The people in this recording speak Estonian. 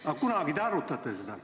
Aga kunagi te ju ometi arutate seda.